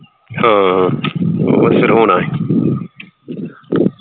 ਹਾਂ ਹੋਣਾ ਹੀ